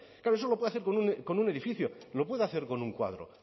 claro eso lo puede hacer con un edificio lo puede hacer con un cuadro